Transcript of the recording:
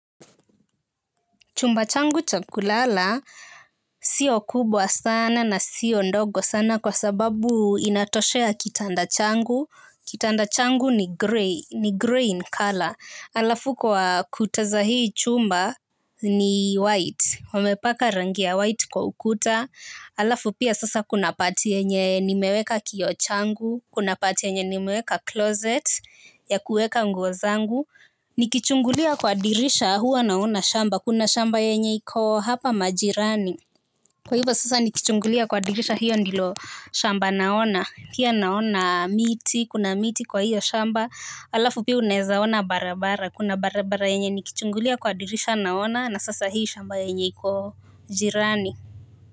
Chumba changu cha kulala sio kubwa sana na sio ndogo sana kwa sababu inatoshea kitanda changu. Kitanda changu ni grey, ni grey in color. Halafu kwa kuta za hii chumba ni white. Wamepaka rangi ya white kwa ukuta. Halafu pia sasa kuna part yenye nimeweka kioo changu. Kuna part yenye nimeweka closet ya kuweka nguo zangu. Nikichungulia kwa dirisha huwa naona shamba. Kuna shamba yenye iko hapa majirani. Kwa hivyo sasa nikichungulia kwa dirisha hio ndilo shamba naona, pia naona miti, kuna miti kwa hio shamba halafu pia unaweza ona barabara. Kuna barabara yenye nikichungulia kwa dirisha naona na sasa hii shamba yenye iko jirani.